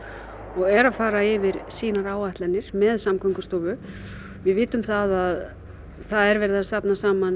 og er að fara yfir sínar áætlanir með Samgöngustofu við vitum það að það er verið að safna saman